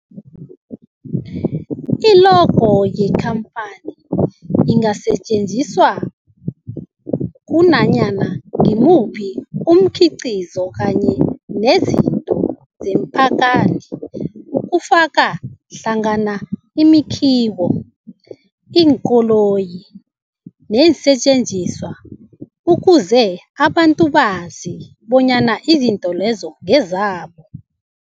I-logo yekhamphani ingasetjenziswa kunanyana ngimuphi umkhiqizo kanye nezinto zekhamphani okufaka hlangana imakhiwo, iinkoloyi neensentjenziswa ukuze abantu bazi bonyana izinto lezo ngezabo.